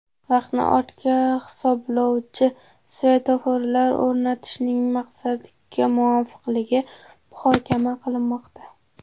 Vaqtni ortga hisoblovchi svetoforlar o‘rnatishning maqsadga muvofiqligi muhokama qilinmoqda.